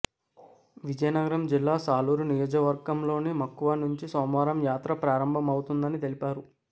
విజయనగరం జిల్లా సాలూరు నియోజకవర్గంలోని మక్కువ నుంచి సోమవారం యాత్ర ప్రారంభమవుతుందని తెలిపారు